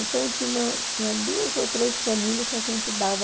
Então eu tinha uma tinha duas ou três famílias que a gente dava...